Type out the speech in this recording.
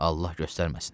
Allah göstərməsin.